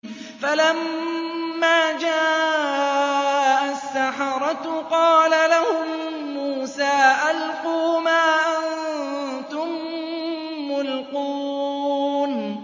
فَلَمَّا جَاءَ السَّحَرَةُ قَالَ لَهُم مُّوسَىٰ أَلْقُوا مَا أَنتُم مُّلْقُونَ